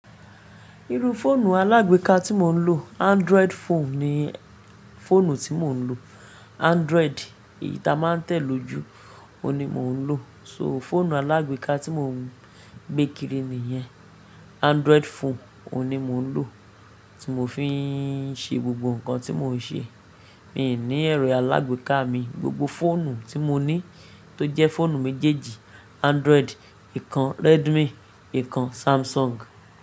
Iru fóònù alágbéka tí mo ń lò, Android phone ni fóònù tí mo ń lò. Android èyí tá a máa ń tẹ̀ lójú, òun ni mò ń lò. So fóònù alágbéka tí mò ń gbé kiri nìyẹn, Android phone òun ni mo ń lò, tí mò fi ń ṣe gbogbo nǹkan tí mò ń ṣe. Mi ò ní ẹ̀rọ alágbèéká mi, gbogbo fóònù tí mo ní tó jẹ́ fóònù méjèèjì, Android, ìkan Redmi, ìkan Samsung.